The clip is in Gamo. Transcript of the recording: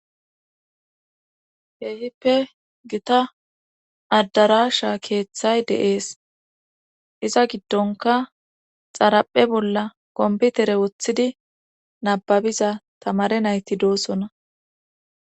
Keehippe gita addarasha keeththay deees iza giddonka xaraphe bolla komputere woththidi nababiza tamare nayti doosona